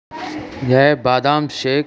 यह बादाम शेक --